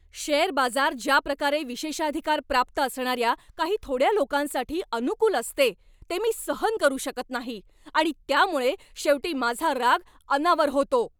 Share बाजार ज्याप्रकारे विशेषाधिकार प्राप्त असणाऱ्या काही थोड्या लोकांसाठी अनुकूल असते ते मी सहन करू शकत नाही आणि त्यामुळे शेवटी माझा राग अनावर होतो.